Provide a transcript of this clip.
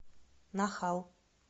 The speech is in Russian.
нахал